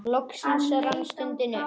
Loks rann stundin upp.